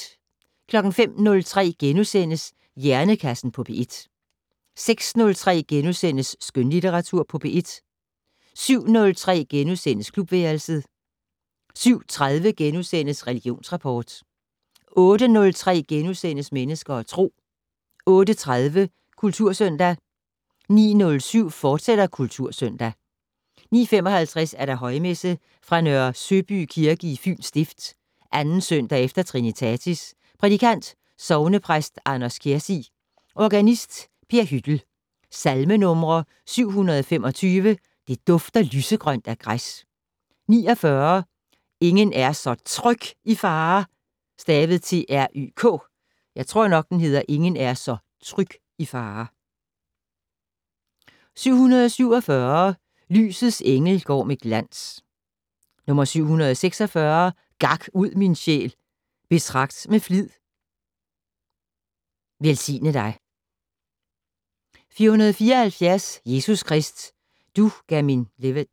05:03: Hjernekassen på P1 * 06:03: Skønlitteratur på P1 * 07:03: Klubværelset * 07:30: Religionsrapport * 08:03: Mennesker og Tro * 08:30: Kultursøndag 09:07: Kultursøndag, fortsat 09:55: Højmesse - Fra Nørre Søby Kirke, Fyens Stift. 2. søndag efter trinitatis. Prædikant: Sognepræst Anders Kjærsig. Organist: Per Hyttel. Salmenumre: 725 "Det dufter lysegrønt af græs". 49 "Ingen er så tryk i fare". 747 "Lysets engel går med glans". 746 "Gak ud, min sjæl, betragt med flid". "Velsigne dig". 474 "Jesus Krist du gav min livet".